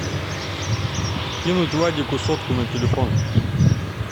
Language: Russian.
кинуть вадику сотку на телефон